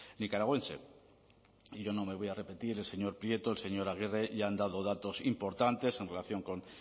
nicaragüense y yo no me voy a repetir el señor prieto el señor aguirre ya han dado datos importantes en relación con